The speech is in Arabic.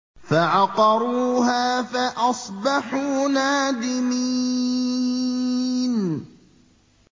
فَعَقَرُوهَا فَأَصْبَحُوا نَادِمِينَ